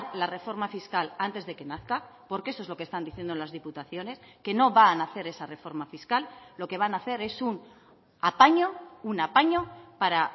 la reforma fiscal antes de que nazca porque eso es lo que están diciendo las diputaciones que no van a hacer esa reforma fiscal lo que van a hacer es un apaño un apaño para